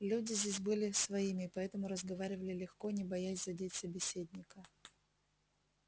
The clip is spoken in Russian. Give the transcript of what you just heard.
люди здесь были своими и поэтому разговаривали легко не боясь задеть собеседника